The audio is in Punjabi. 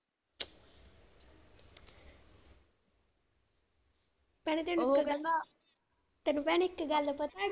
ਭੈਣੇ ਤੈਨੂੰ ਪਤਾ, ਤੈਨੂੰ ਭੈਣੇ ਇੱਕ ਪਤਾ।